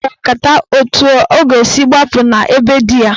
Ha kpara nkata etu ọ ga-esi gbapụ na be di ya.